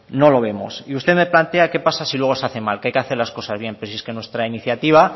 no lo vemos y usted me plantea qué pasa si luego se hace mal que hay que hacer las cosas bien pues si es que nuestra iniciativa